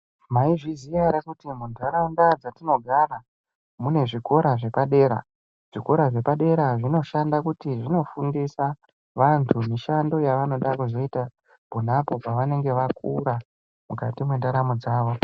Maizviziya ere kuti muntaraunda dzatinogara mune zvikora zvepadera zvikora zvepadera zvinoshanda kuti zvinofundisa vantu mushanda yavanoda kuzoita ponapo pevanenge vakura mukati mwendaramo dzawo.